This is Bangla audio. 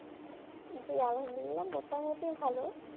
জ্বী আলহামদুলিল্লাহ মোটামুটি ভালো